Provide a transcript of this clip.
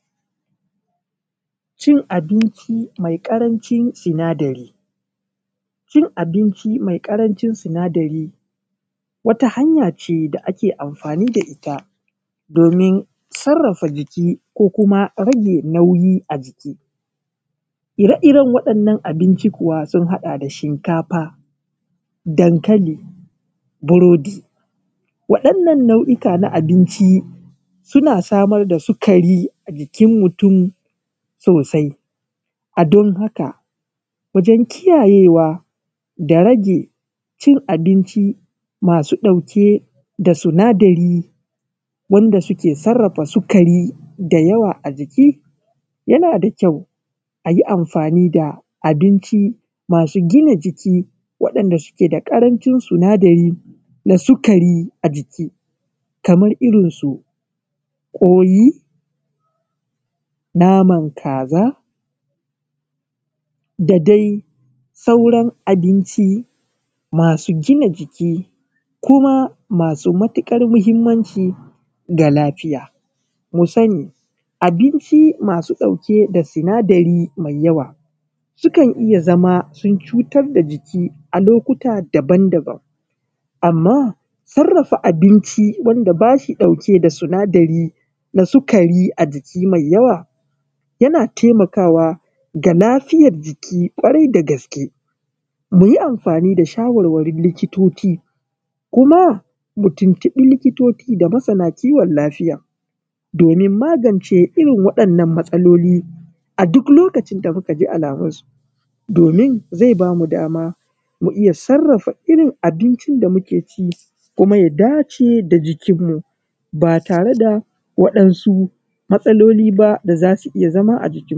Cin abinci mai karancin sinadari, cin abinci mai karancin sinadari wata hay ace da ake amfani da ita domin sarafa jiki ko kuma rage nauyi a jiki, ire-iren waɗannan abinci kuwa sun haɗa da shinkafa, dankali, burodi, waɗannan nau’oka na abinci suna samar da sugari a jikin mutum sosai a don haka wajen kiyayewa da rage cin abinci masu ɗauke da sinadari wanda suke sarafa sugari da yawa a jiki yana da kyau ayi amfani da abinci masu gina jiki wanda suke da karanshin sinadari da sugari a jaki kamar irin su kwai, naman kaza, da dai sauran abinci masu gina jiki kuma masu matukar muhimmanci ga lafiya, mu sani abinci masu ɗauke da sinadari mai yawa su kan iya zama sun cutar da jiki a lokuta daban-daban amma sarafa abinci wanda bashi ɗauke da sinadari da sugari a jiki mai yawa yana taimakawa ga lafiyar jiki kwarai da gaske, muyi amfani da shawarwarin likitoci kuma mu tuntubi likitoci da masana kiwon lafiya domin magance irin waɗannan matsaloli a duk lokacin da muka ji alamun su domin zai bamu dama mu iya sarafa irin abincin da muke ci kuma ya dace da jikin mu ba tare da waɗansu matsaloli ba da zasu iya zama a jikin mu.